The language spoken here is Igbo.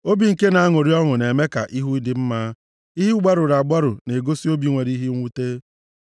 Obi nke na-aṅụrị ọṅụ na-eme ka ihu dị mma. Ihu gbarụrụ agbarụ na-egosi obi nwere ihe mwute.